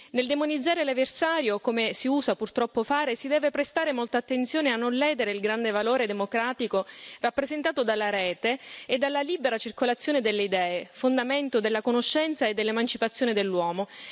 Nel demonizzare l'avversario, come si usa purtroppo fare, si deve prestare molta attenzione a non ledere il grande valore democratico rappresentato dalla rete e dalla libera circolazione delle idee, fondamento della conoscenza e dell'emancipazione dell'uomo.